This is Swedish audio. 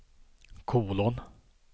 kolon